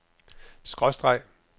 skråstreg